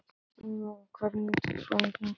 Eymar, hvernig er dagskráin í dag?